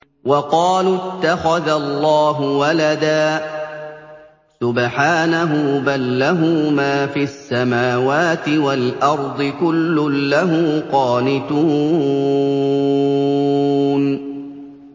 وَقَالُوا اتَّخَذَ اللَّهُ وَلَدًا ۗ سُبْحَانَهُ ۖ بَل لَّهُ مَا فِي السَّمَاوَاتِ وَالْأَرْضِ ۖ كُلٌّ لَّهُ قَانِتُونَ